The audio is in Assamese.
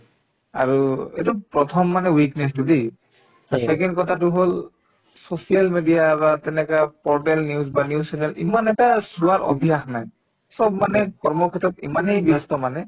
আৰু এইটো প্ৰথমমানে weakness তো দেই second কথাটো হল social media বা তেনেকা portal news বা news channel ইমান এটা চোৱাৰ অভ্যাস নাই চব মানে কৰ্মক্ষেত্ৰত ইমানেই ব্যস্ত মানে